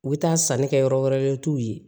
U bɛ taa sanni kɛ yɔrɔ wɛrɛ la u t'u ye